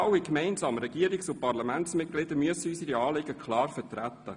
Wir alle gemeinsam, Regierungs- und Parlamentsmitglieder, müssen unsere Anliegen klar vertreten.